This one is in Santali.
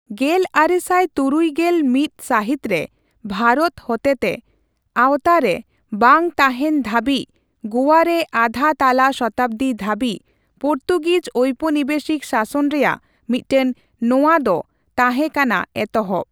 ᱜᱮᱞ ᱟᱨᱮᱥᱟᱭ ᱛᱩᱨᱩᱭ ᱜᱮᱞ ᱢᱤᱛ ᱥᱟᱹᱦᱤᱛ ᱨᱮ ᱵᱷᱟᱨᱚᱛ ᱦᱚᱛᱮᱛᱮ ᱟᱣᱛᱟ ᱨᱮ ᱵᱟᱝ ᱛᱟᱦᱮᱸᱱ ᱫᱷᱟᱹᱵᱤᱡ ᱜᱳᱭᱟ ᱨᱮ ᱟᱫᱷᱟ ᱛᱟᱞᱟ ᱥᱚᱛᱟᱵᱫᱤ ᱫᱷᱟᱹᱵᱤᱡ ᱯᱚᱨᱛᱩᱜᱤᱡ ᱳᱯᱚᱱᱤᱵᱮᱥᱤᱠ ᱥᱟᱥᱚᱱ ᱨᱮᱭᱟᱜ ᱢᱤᱫᱴᱟᱝ ᱱᱚᱣᱟ ᱫᱚ ᱛᱟᱦᱮᱸ ᱠᱟᱱᱟ ᱮᱛᱚᱦᱚᱵ ᱾